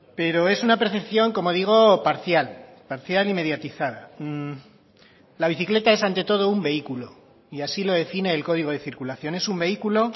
pero es una percepción como digo parcial parcial y mediatizada la bicicleta es ante todo un vehículo y así lo define el código de circulación es un vehículo